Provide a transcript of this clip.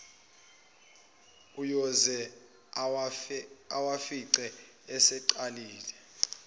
uyoze awafice eseqalile